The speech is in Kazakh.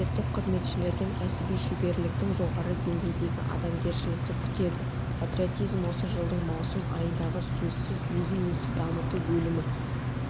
мемлекеттік қызметшілерден кәсіби шеберліктің жоғары деңгейдегі адамгершілікті күтеді патриотизм осы жылдың маусым айындағы сөзсіз өзін-өзі дамыту бөлімі